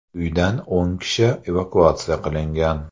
Uydan o‘n kishi evakuatsiya qilingan.